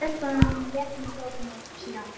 Stelpan rétti mér bókina sína.